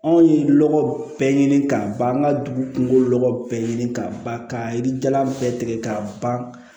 Anw ye lɔgɔ bɛɛ ɲini k'a ban an ka dugu kungolo lɔkɔ bɛɛ ɲini ka ban ka yiri jalan bɛɛ tigɛ k'a ban